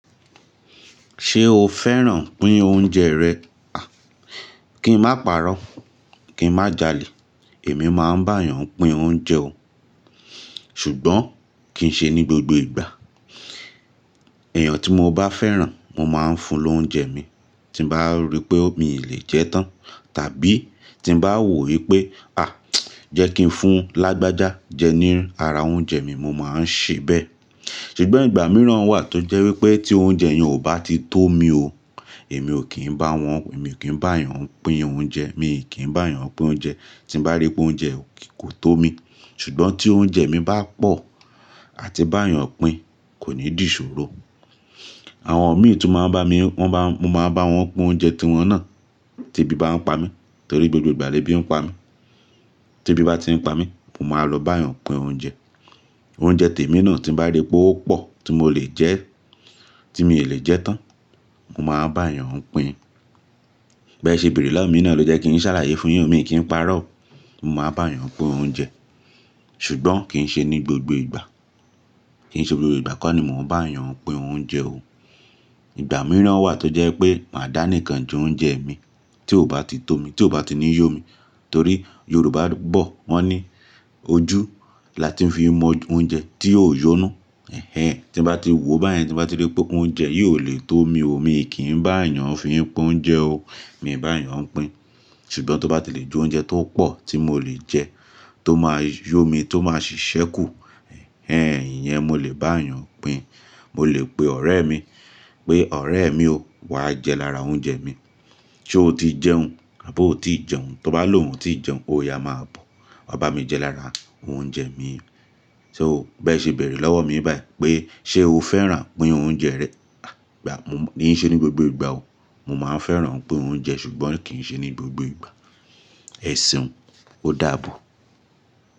Ṣé o fẹ́ràn pín oúnjẹ rẹ? Kí n má parọ́, kí n má jalè, èmi máa ń bá èèyàn pín oúnjẹ o. Ṣùgbọ́n kì í ṣe ní gbogbo ìgbà. Èèyàn tí mo bá fẹ́ràn, mo máa ń fún lóúnjẹ mi tí bá rí pé ó mi lè jẹ tán tàbí tí bá wò wípé: "à, jẹ́ kí n fún lágbájá jẹ ní ara oúnjẹ mi", mo máa ń ṣe bẹ́ẹ̀. Ṣùgbọ́n ìgbà mìíràn wà tó jẹ́ wípé tí oúnjẹ yẹn ò bá ti tó mi o, èmi ò kí ń bá wọn, èmi ò kí ń bá èèyàn pín oúnjẹ, mi ò kí ń bá èèyàn pín oúnjẹ tí n bá rí pé oúnjẹ kò tó mi. Ṣùgbọ́n tí oúnjẹ mi bá pọ̀ àti bá èèyàn pín kò ní dì ìṣòro. Àwọn ọ̀mi tún máa ń bá mi, wọ́n bá, mo máa bá wọn pín oúnjẹ tí wọ́n ná, tí ebí bá ń pa mí torí gbogbo ìgbà lèbí ń pa mí. Tí ebí bá ti ń pa mí, mo máa lọ bá èèyàn pín oúnjẹ. Oúnjẹ tèmi náà tí n bá rí pé ó pọ̀ tí mo lè jẹ́, tí mi lè jẹ tán, mo máa bá èèyàn pín. Bẹ́ẹ̀ ṣe bèrè lọ́wọ́ mi náà ló jẹ́ kí n ṣàlàyé fún yín, mi kí n parọ́. Mo máa bá èèyàn pín oúnjẹ, ṣùgbọ́n kì í ṣe ní gbogbo ìgbà. Kì í ṣe gbogbo ìgbà kọ́ ni mò ń bá èèyàn pín oúnjẹ o. Ìgbà mìíràn wà tó jẹ́ pé màá dá nìkan ju oúnjẹ mi tí ò bá ti tó mi, tí ò bá ti ní yó mi. Torí Yorùbá bọ̀, wọ́n ní ojú la ti ń fi mọ oúnjẹ tí yóò yó inú. Ẹ̀hẹn, tí n bá ti wòó báyẹn tí n bá rí pé oúnjẹ yìí ò lè tó mi o, mi ò kí ń bá èèyàn fi pín oúnjẹ o. Mi ò bá èèyàn pín. Ṣùgbọ́n tó bá ti lè ju oúnjẹ tó pọ̀ tí mò lè jẹ, tó máa yó mi, tó máa ṣiṣẹ́ kù, ẹ̀hẹn, iyẹn mo lè bá èèyàn pín. Mo lè pe ọ̀rẹ́ mi pé, "ọ̀rẹ́ mi o, wá jẹ lára oúnjẹ mi. Sé o ti jẹun, àbí o ti ì jẹun?" Tó bá lòún, ó ti ì jẹun, ó yá máa bọ̀, wa bá mi jẹ lára oúnjẹ mi. So, bẹ́ẹ̀ ṣe bèrè lọ́wọ́ mi báyìí pé, "Ṣé o fẹ́ràn pín oúnjẹ rẹ?" À, ìgbà mo mí í ṣe ní gbogbo ìgbà o. Mo máa ń fẹ́ràn pín oúnjẹ ṣùgbọ́n kì í ṣe ní gbogbo ìgbà. Ẹ̀seun o, ó dàbọ̀.